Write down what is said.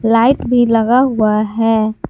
Light भी लगा हुआ है।